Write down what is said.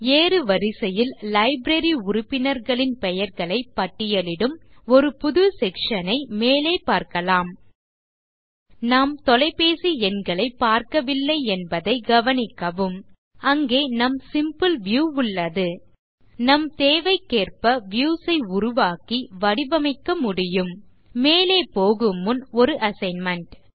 ஏறுவரிசையில் library உறுப்பினர்களின் பெயர்களைப் பட்டியலிடும் ஒரு புது செக்ஷன் ஐ மேலே பார்க்கலாம் நாம் தொலைபேசி எண்களைப் பார்க்கவில்லை என்பதை கவனிக்கவும் அங்கே நம் சிம்பிள் வியூ உளளது நம் தேவைக்கேற்ப வியூஸ் ஐ உருவாக்கி வடிவமைக்க முடியும் மேலே போகுமுன் ஒரு அசைன்மென்ட்